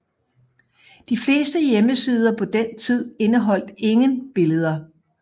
De fleste hjemmesider på den tid indeholdt ingen billeder